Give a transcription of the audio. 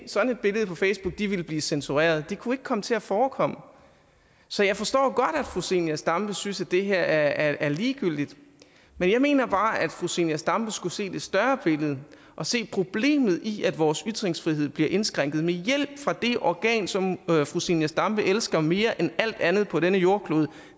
sådan et billede på facebook ville blive censureret det kunne ikke komme til at forekomme så jeg forstår godt at fru zenia stampe synes at det her er ligegyldigt men jeg mener bare at fru zenia stampe skulle se det større billede og se problemet i at vores ytringsfrihed bliver indskrænket med hjælp fra det organ som fru zenia stampe elsker mere end alt andet på denne jordklode